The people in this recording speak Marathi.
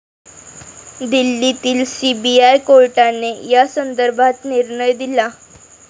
दिल्लीतील सीबीआय कोर्टाने यासंदर्भात निर्णय दिला.